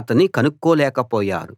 అతణ్ణి కనుక్కోలేక పోయారు